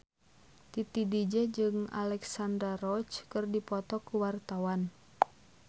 Titi DJ jeung Alexandra Roach keur dipoto ku wartawan